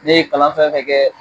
Ne ye kalan fɛn fɛn kɛ